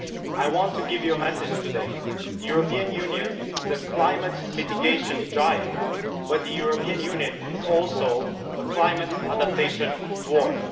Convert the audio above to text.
I want to give you a message today the European Union is a climate mitigation giant but the European Union is also a climate adaptation dwarf.